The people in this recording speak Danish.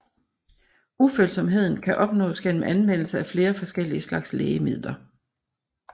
Ufølsomheden kan opnås igennem anvendelse af flere forskellige slags lægemidler